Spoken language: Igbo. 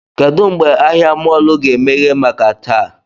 Kedụ mgbe ahịa mọọlụ ga-emeghe maka taa?